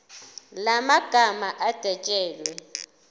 la magama adwetshelwe